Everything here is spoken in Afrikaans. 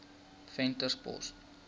venterspost